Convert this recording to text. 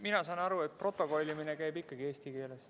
Mina saan aru, et protokollimine käib ikkagi eesti keeles.